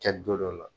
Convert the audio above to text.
Kɛ don dɔ la